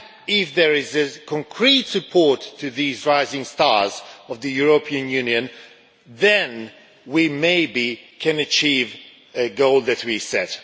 If there is concrete support for these rising stars of the European Union, then maybe we can achieve the goal that we set